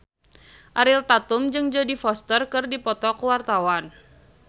Ariel Tatum jeung Jodie Foster keur dipoto ku wartawan